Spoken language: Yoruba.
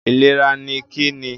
Ìlera ni Kí ni?